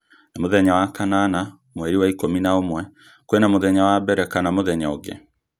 nĩ mũthenya wa kanana mweri wa ikũmi na ũmwe kwina mũthenya wa mbere kana mũthenya ungĩ